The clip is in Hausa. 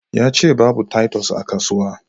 Yace babu titus a kasuwa